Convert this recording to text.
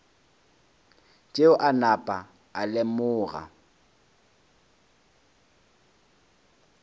tšeo a napa a lemoga